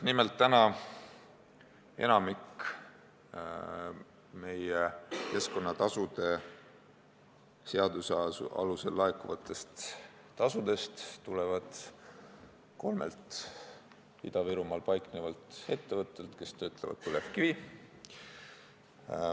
Nimelt, enamik keskkonnatasude seaduse alusel laekuvatest tasudest tuleb kolmelt Ida-Virumaal paiknevalt ettevõttelt, mis töötlevad põlevkivi.